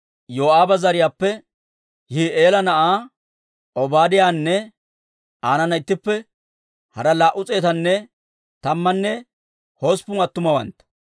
Yoo'aaba zariyaappe Yihi'eela na'aa Obaadiyaanne aanana ittippe hara laa"u s'eetanne tammanne hosppun attumawantta,